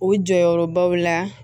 O jɔyɔrɔbaw la